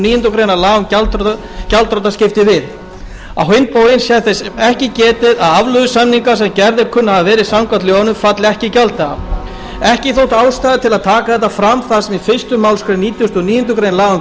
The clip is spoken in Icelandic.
níundu grein laga um gjaldþrotaskipti við á hinn bóginn sé þess ekki getið að afleiðusamningar sem gerðir kunna að hafa verið samkvæmt lögunum falli ekki í gjalddaga ekki þótti ástæða til þess að taka þetta fram þar sem fyrstu málsgrein nítugasta og níundu grein